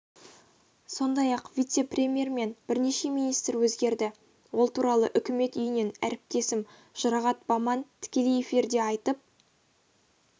сондай-ақ вице-премьер мен бірнеше министр өзгерді ол туралы үкімет үйінен әріптесім жұрағат баман тікелей эфирде айтып